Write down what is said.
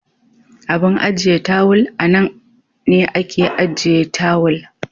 Abun ajiye tawal anan ne ake ajiye tawal.